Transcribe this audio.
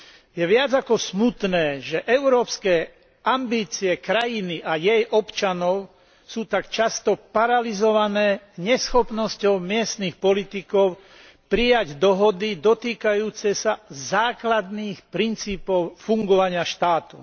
Je viac ako smutné, že európske ambície krajiny a jej občanov sú tak často paralyzované neschopnosťou miestnych politikov prijať dohody dotýkajúce sa základných princípov fungovania štátu.